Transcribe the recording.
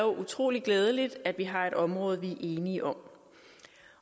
utrolig glædeligt at vi har et område vi er enige om